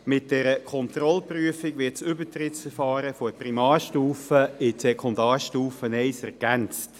Mit der Kontrollprüfung wird das Übertrittsverfahren von der Primarstufe in die Sekundarstufe I ergänzt.